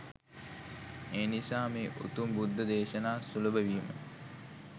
එනිසා මේ උතුම් බුද්ධ දේශනා සුලභ වීම